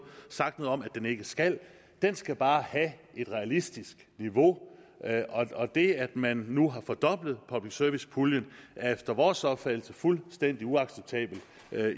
sagt noget om at den ikke skal den skal bare have et realistisk niveau og det at man nu har fordoblet public service puljen er efter vores opfattelse fuldstændig uacceptabelt